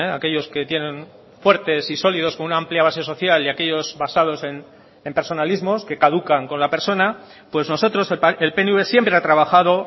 aquellos que tienen fuertes y sólidos con una amplia base social y aquellos basados en personalismos que caducan con la persona pues nosotros el pnv siempre ha trabajado